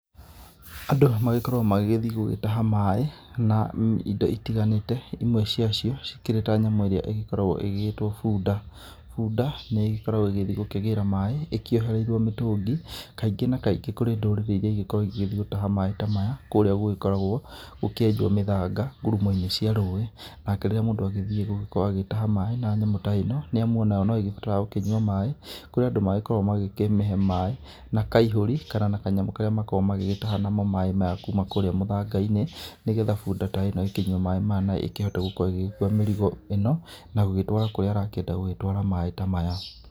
Andũ magĩkoragwo magĩgĩthiĩ gũgĩtaha maaĩ, na indo itiganĩte, imwe cia cio cikĩrĩ ta nyamũ ĩrĩa ĩgĩkoragwo ĩgĩgĩĩtwo bunda. Bunda nĩ ĩgĩkoragwo ĩgĩthiĩ gũkĩgĩra maaĩ, ĩkĩohereirio mĩtũngi kaingĩ na kaingĩ kũrĩ ndũrĩrĩ iria igĩkoragwo igĩthiĩ gũtaha maaĩ ta maya kũũrĩa gũkoragwo gũkĩenjwo mĩthanga ngurumo-inĩ cia rũĩ, nake rĩrĩa mũndũ agĩthiĩ gũkorwo agĩtaha maaĩ na nyamũ ta ĩno, nĩ amu onayo no ĩgĩbataraga gũkĩnyua maaĩ, kũrĩ andũ magĩkoragwo magĩkĩmĩhe maaĩ na kaihũri kana na kanyamũ karĩa makoragwo magĩgĩtaha namo maaĩ ma kuuma kũrĩa mũthanga-inĩ, nĩgetha bunda ta ĩno ĩkĩnyue maaĩ maya, na ĩkĩhote gũkorwo ĩgĩkũa mĩrigo ĩno, na gũgĩtwara kũrĩa arakĩenda gũgĩtwara maaĩ ta maya.